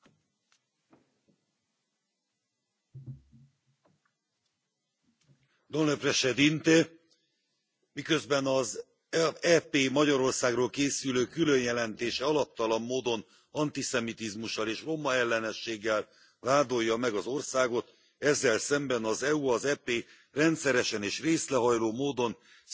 Elnök Úr, miközben az EP Magyarországról készülő különjelentése alaptalan módon antiszemitizmussal és romaellenességgel vádolja meg az országot, ezzel szemben az EU az EP rendszeresen és részrehajló módon szemet huny a Romániában elhatalmasodó, rendszerszintű magyarellenesség felett.